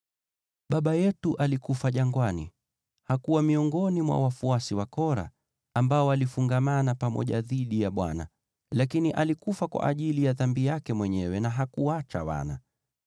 “Baba yetu alikufa jangwani. Hakuwa miongoni mwa wafuasi wa Kora, ambao walifungamana pamoja dhidi ya Bwana , lakini alikufa kwa ajili ya dhambi yake mwenyewe na hakuacha wana.